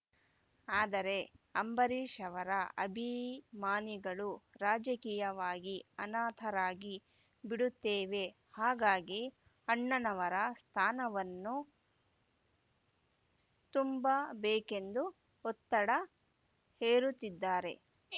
ಆದರೆ ಅಂಬರೀಷ್‌ ಅವರ ಅಭಿಮಾನಿಗಳು ರಾಜಕೀಯವಾಗಿ ಅನಾಥರಾಗಿ ಬಿಡುತ್ತೇವೆ ಹಾಗಾಗಿ ಅಣ್ಣನವರ ಸ್ಥಾನವನ್ನು ತುಂಬಬೇಕೆಂದು ಒತ್ತಡ ಹೇರುತ್ತಿದ್ದಾರೆ